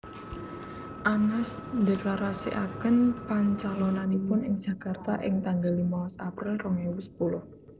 Anas ndheklarasikaken pancalonanipun ing Jakarta ing tanggal limolas April rong ewu sepuluh